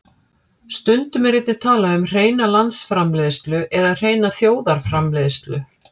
Stundum er einnig talað um hreina landsframleiðslu eða hreina þjóðarframleiðslu.